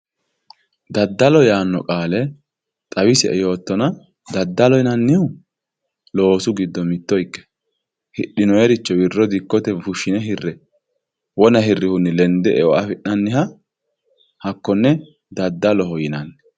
Dadalo yaano qaale xawisie yootana dadaloho yinanihu loosu giddo mitto ike hidhinoyiricho wirro fushine hirre wona hirihuni lende eo afinanita hakonne dadaloho yinani